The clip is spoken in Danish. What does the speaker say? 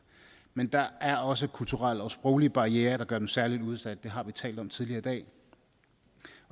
men der er også kulturelle og sproglige barrierer der gør dem særlig udsatte det har vi talt om tidligere i dag